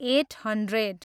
at hundred